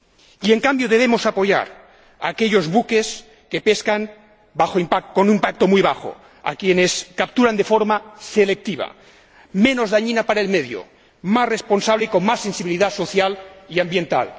Y, en cambio, debemos apoyar a aquellos buques que pescan con un impacto muy bajo, a quienes capturan de forma selectiva, menos dañina para el medio, más responsable, y con más sensibilidad social y ambiental.